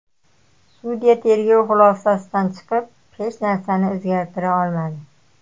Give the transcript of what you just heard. Sudya tergov xulosasidan chiqib, hech narsani o‘zgartira olmadi.